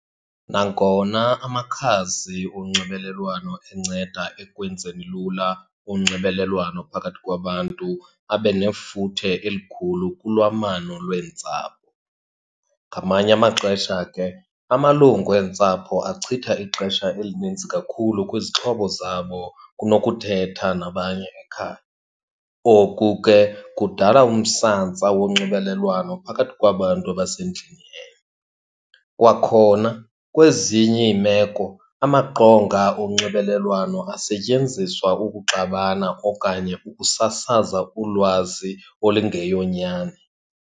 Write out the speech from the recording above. Nangona amakhasi onxibelelwano enceda ekwenzeni lula unxibelelwano phakathi kwabantu, abe nefuthe elikhulu kulwamano lweentsapho. Ngamanye amaxesha ke amalungu eentsapho achitha ixesha elinintsi kakhulu kwizixhobo zabo kunokuthetha nabanye ekhaya. Oku ke kudala umsantsa wonxibelelwano phakathi kwabantu abasendlini enye. Kwakhona kwezinye iimeko amaqonga onxibelelwano asetyenziswa ukuxabana okanye ukusasaza ulwazi olingeyonyani.